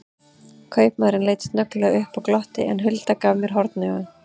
Kaupamaðurinn leit snögglega upp og glotti, en Hulda gaf mér hornauga.